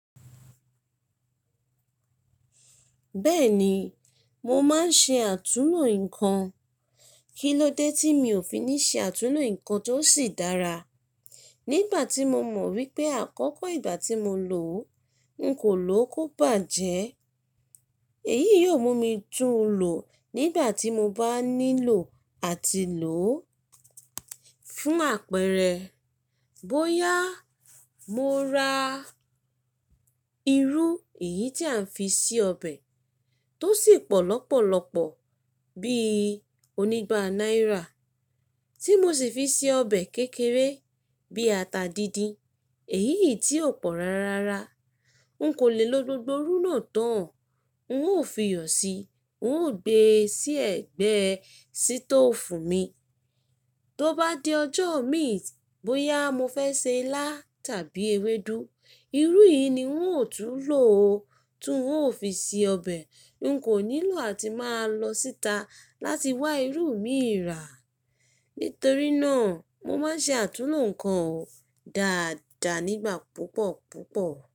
Bẹ́ẹ̀ni, mo máa ń ṣe àtúnlo nǹkan. Kí ló dé tí mi ò fi ní ṣe àtúnlo nǹkan tó sì dára? Nígbà tí mo mọ̀ wípé àkọ́kọ́ ìgbà tí mo lò ó, n kò lò ó kó bàjẹ́. Èyí yóò mú mi tún lò ó nígbà tí mo bá nílò àti lò ó. Fún àpẹẹrẹ, bóyá mo ra irú èyí tí à ń fi ṣe ọbẹ̀ tó sì pọ̀ lọ́pọ̀lọpọ̀ bí onígba náírà tí mo sì fi ṣe ọbẹ̀ kékeré bí ata díndín, èyí yìí tí ò pọ̀ rárára. N kò lè lo gbogbo irú náà tán, n ó fi yọ̀ sí, n ó gbe sí ẹ̀gbẹ́ sítòfù mi. Tó bá di ọjọ́ imi t, bóyá mo fẹ́ se ilá tàbí ewédú, irú yìí ni n ó tún lò o tó n ó fi ṣe ọbẹ̀. N kò nílò àti máa lọ síta láti wá irú mi rà. Nítorí náà, mo máa ń ṣe àtúnlo nǹkan o dáadáa nígbà púpọ̀ púpọ̀